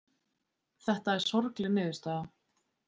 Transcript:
Þetta er sorgleg niðurstaða